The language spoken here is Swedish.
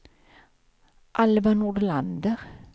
Alva Nordlander